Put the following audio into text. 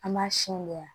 An b'a siyɛn